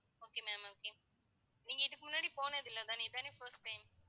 okay ma'am okay நீங்க இதுக்கு முன்னாடி போனது இல்லை தானே இதானே first time